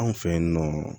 Anw fɛ yen nɔ